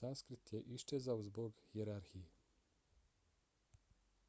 sanskrit je iščezao zbog hijerarhije